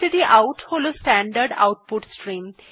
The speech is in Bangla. স্টডাউট হল স্ট্যান্ডার্ড আউটপুট স্ট্রিম